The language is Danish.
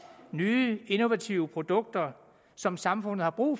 nye innovative produkter som samfundet har brug